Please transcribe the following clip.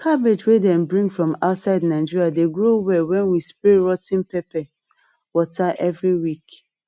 cabbage wey dem bring from outside nigeria dey grow well when we spray rot ten pepper water every week